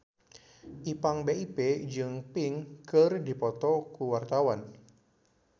Ipank BIP jeung Pink keur dipoto ku wartawan